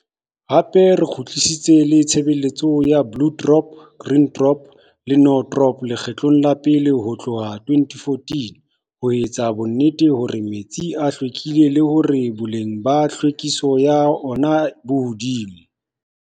Hape re kgutlisitse le tshebeletso ya Blue Drop, Green Drop le No Drop lekgetlo la pele ho tlohka 2014 ho etsa bonnete ba hore metsi a hlwekile le hore boleng ba tlhwekiso ya ona bo hodimo.